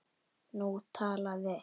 Nú talaði